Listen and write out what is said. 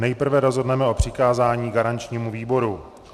Nejprve rozhodneme o přikázání garančnímu výboru.